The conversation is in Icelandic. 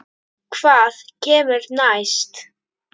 Hvað kemur næst?